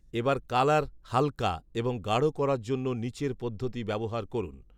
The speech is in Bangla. এবার কালার হালকা এবং গাঢ়ো করার জন্য নিচের পদ্ধতি ব্যবহার করুন